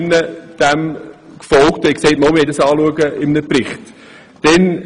Damals haben nur 15 Personen dieses Anliegen unterstützt.